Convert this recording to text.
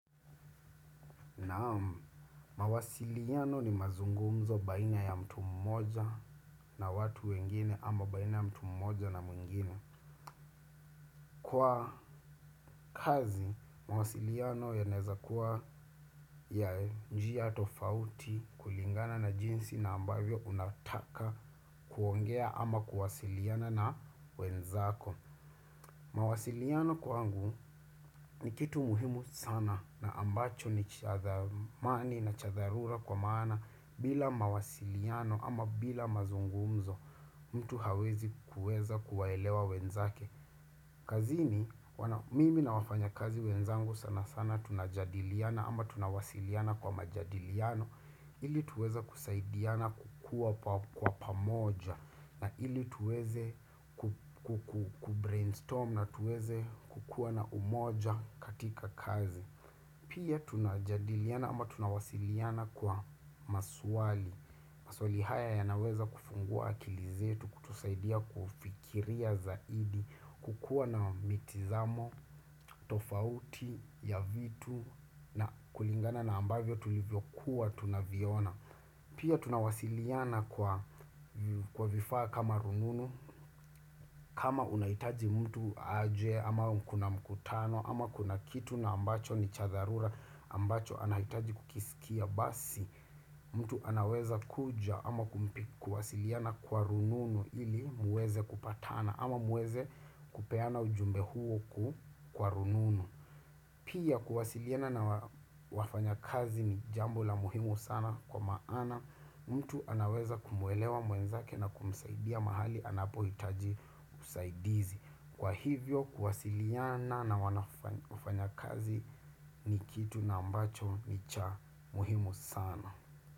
Naam mawasiliano ni mazungumzo baina ya mtu mmoja na watu wengine ama baina ya mtu mmoja na mwingine. Kwa kazi mawasiliano yanaweza kuwa ya njia tofauti kulingana na jinsi na ambavyo unataka kuongea ama kuwasiliana na wenzako. Mawasiliano kwangu ni kitu muhimu sana na ambacho ni cha thamani na cha dharura kwa maana bila mawasiliano ama bila mazungumzo mtu hawezi kuweza kuwaelewa wenzake. Kazini mimi na wafanyakazi wenzangu sana sana tunajadiliana ama tunawasiliana kwa majadiliano ili tuweze kusaidiana kukua kwa pamoja na ili tuweze kubrainstorm na tuweze kukuwa na umoja katika kazi. Pia tunajadiliana ama tunawasiliana kwa maswali maswali haya yanaweza kufungua akili zetu kutusaidia kufikiria zaidi kukuwa na mitazamo, tofauti ya vitu na kulingana na ambavyo tulivyokuwa tunaviona. Pia tunawasiliana kwa vifaa kama rununu kama unahitaji mtu aje ama kuna mkutano ama kuna kitu ambacho ni cha dharura ambacho anahitaji kukisikia basi mtu anaweza kuja ama kuwasiliana kwa rununu ili muweze kupatana ama muweze kupeana ujumbe huo kwa rununu. Pia kuwasiliana na wafanyakazi ni jambo la muhimu sana kwa maana mtu anaweza kumwelewa mwenzake na kumsaidia mahali anapohitaji usaidizi. Kwa hivyo kuwasiliana na wafanyakazi ni kitu ambacho ni cha muhimu sana.